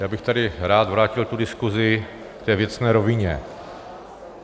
Já bych tady rád vrátil tu diskusi k té věcné rovině.